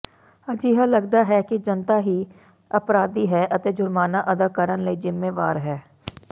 ਅਜਿਹਾ ਲਗਦਾ ਹੈ ਕਿ ਜਨਤਾ ਹੀ ਅਪਰਾਧੀ ਹੈ ਅਤੇ ਜੁਰਮਾਨਾ ਅਦਾ ਕਰਨ ਲਈ ਜ਼ਿੰਮੇਵਾਰ ਹੈ